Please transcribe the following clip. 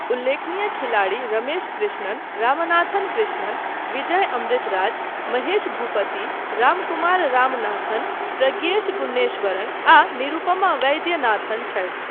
उल्लेखनीय खिलाड़ी रमेश कृष्णन, रामनाथन कृष्णन, विजय अमृतराज, महेश भूपति, रामकुमार रामनाथन, प्रज्ञेश गुन्नेश्वरन आ निरुपमा वैद्यनाथन छथि।